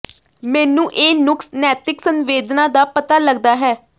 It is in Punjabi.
ਮੈਨੂੰ ਇਹ ਨੁਕਸ ਨੈਤਿਕ ਸੰਵੇਦਨਾ ਦਾ ਪਤਾ ਲਗਦਾ ਹੈ